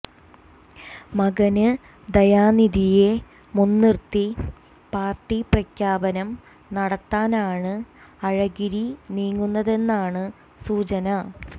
മകന് ദയാനിധിയെ മുന്നിര്ത്തി പാര്ട്ടി പ്രഖ്യാപനം നടത്താനാണ് അഴഗിരി നീങ്ങുന്നതെന്നാണ് സൂചന